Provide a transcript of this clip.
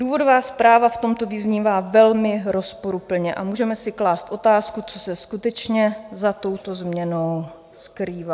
Důvodová zpráva v tomto vyznívá velmi rozporuplně a můžeme si klást otázku, co se skutečně za touto změnou skrývá.